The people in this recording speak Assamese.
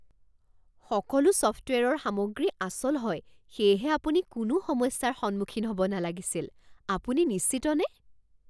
সকলো ছফ্টৱেৰৰ সামগ্ৰী আচল হয় সেয়েহে আপুনি কোনো সমস্যাৰ সন্মুখীন হ'ব নালাগিছিল। আপুনি নিশ্চিতনে?